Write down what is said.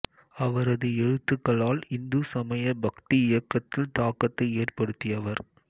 அவரது எழுத்துக்களால் இந்து சமய பக்தி இயக்கத்தில் தாக்கத்தை ஏற்படுதியவர்